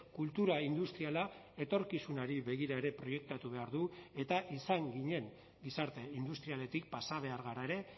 kultura industriala etorkizunari begira ere proiektatu behar du eta izan ginen gizarte industrialetik pasa behar gara ere